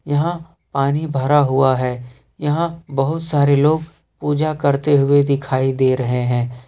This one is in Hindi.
यहां पानी भरा हुआ है यहां बहुत सारे लोग पूजा करते हुए दिखाई दे रहे हैं।